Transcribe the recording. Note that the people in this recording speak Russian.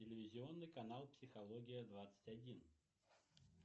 телевизионный канал психология двадцать один